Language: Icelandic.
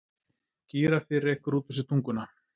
Gíraffi rekur út úr sér tunguna.